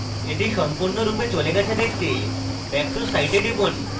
এটি সম্পূর্ণরূপে চলে গেছে দেখতে back to site এ টিপুন